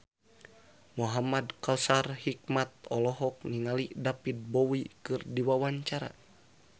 Muhamad Kautsar Hikmat olohok ningali David Bowie keur diwawancara